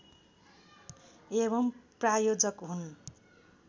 एवं प्रायोजक हुन्